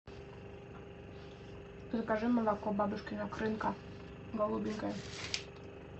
закажи молоко бабушкина крынка голубенькое